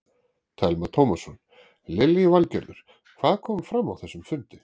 Telma Tómasson: Lillý Valgerður, hvað kom fram á þessum fundi?